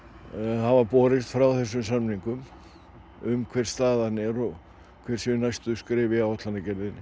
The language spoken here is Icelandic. hafa borist frá þessum samningum um hver staðan er og hver séu næstu skref í áætlanagerðinni